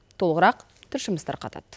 толығырақ тілшіміз тарқатады